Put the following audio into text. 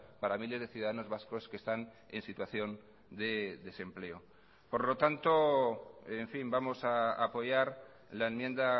para miles de ciudadanos vascos que están en situación de desempleo por lo tanto en fin vamos a apoyar la enmienda